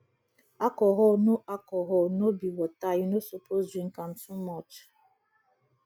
alcohol no alcohol no be water you no suppose drink am too much